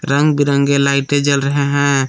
रंग बिरंगे लाइटें जल रहे हैं।